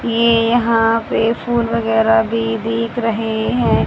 ये यहां पे फूल वगैरा भी दिख रहे है।